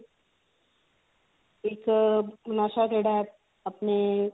ਇੱਕ ਨਸ਼ਾ ਜਿਹੜਾ ਆਪਣੇ